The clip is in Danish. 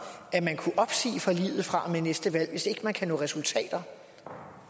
at man kunne opsige forliget fra og med næste valg hvis ikke man kan nå resultater